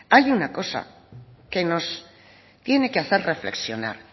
hay una cosa que nos tiene que hacer reflexionar